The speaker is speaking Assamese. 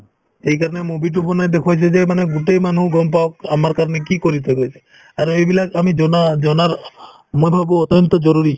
সেইকাৰণে movie তো বনাই দেখুৱাইছে যে মানে গোটেই মানুহ গম পাওঁক আমাৰ কাৰণে কি কৰি থাকে সিহঁতে আৰু এইবিলাক আমি জনা‍‍~ জনাৰ মই ভাবো অত্যন্ত জৰুৰী